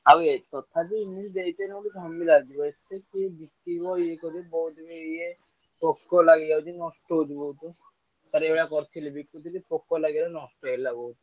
ଆଉ ହେ ତଥାପି ମୁଁ ଦେଇଦେଇ ନଥାନ୍ତି କମିଲେ ଏତେ କିଏ ବିକିବ ଇଏ କରିବ ବହୁତ ଗୁଡିଏ ଇଏ ପୋକ ଲାଗି ଯାଉଛି ନଷ୍ଟ ହେଉଛି ବୋହୁତୁ। ଥରେ ଏ ଭଳିଆ କରିଥିଲି ପୋକ ଲାଗିଗଲା ନଷ୍ଟ ହୋଥଗଲା।